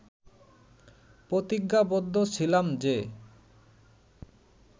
প্রতিজ্ঞাবদ্ধ ছিলাম যে